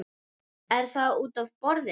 Er það útaf borðinu?